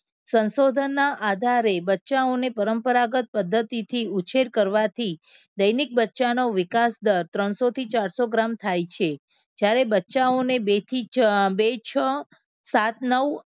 સંશોધનના આધારે બચ્ચાઓને પરંપરાગત પદ્ધતિથી ઉછેર કરવાથી દૈનિક બચ્ચા નો વિકાસ દર ત્રણસો થી ચારસો ગ્રામ થાય છે. જ્યારે બચ્ચાઓ અને બેથી બે છ સાત નવ